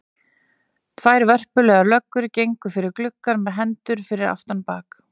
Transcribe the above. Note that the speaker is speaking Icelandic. Tvær vörpulegar löggur gengu fyrir gluggann með hendur fyrir aftan bak.